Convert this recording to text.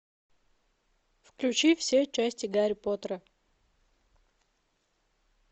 включи все части гарри поттера